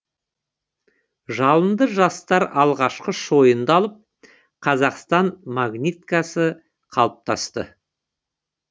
жалынды жастар алғашқы шойынды алып қазақстан магниткасы қалыптасты